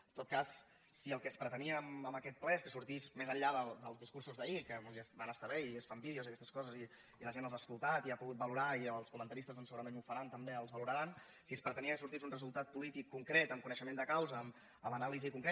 en tot cas si el que es pretenia amb aquest ple és que sortís més enllà dels discursos d’ahir que van estar bé i es fan vídeos i aquestes coses i la gent els ha escoltat i els ha pogut valorar i els comentaristes doncs segurament ho faran també els valoraran si es pretenia que sortís un resultat polític concret amb coneixement de causa amb anàlisi concreta